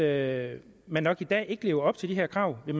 at man nok i dag ikke lever op til de her krav vil